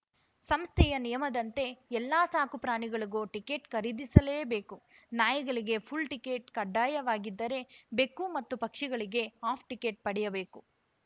ಸಂಸ್ಥೆಯ ನಿಯಮದಂತೆ ಎಲ್ಲ ಸಾಕುಪ್ರಾಣಿಗಳಿಗೂ ಟಿಕೆಟ್‌ ಖರೀದಿಸಲೇಬೇಕು ನಾಯಿಗಳಿಗೆ ಫುಲ್‌ ಟಿಕೆಟ್‌ ಕಡ್ಡಾಯವಾಗಿದ್ದರೆ ಬೆಕ್ಕು ಮತ್ತು ಪಕ್ಷಿಗಳಿಗೆ ಹಾಫ್‌ ಟಿಕೆಟ್‌ ಪಡೆಯಬೇಕು